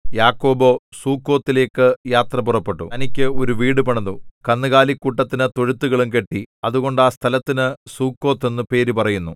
യാക്കോബോ സുക്കോത്തിലേക്കു യാത്ര പുറപ്പെട്ടു തനിക്ക് ഒരു വീടു പണിതു കന്നുകാലിക്കൂട്ടത്തിനു തൊഴുത്തുകളും കെട്ടി അതുകൊണ്ട് ആ സ്ഥലത്തിന് സുക്കോത്ത് എന്നു പേരു പറയുന്നു